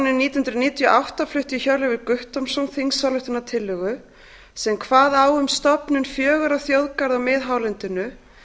nítján hundruð níutíu og átta flutti hjörleifur guttormsson þingsályktunartillögu sem kvað á um stofnun fjögurra þjóðgarða á miðhálendinu